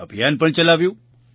અભિયાન પણ ચલાવ્યું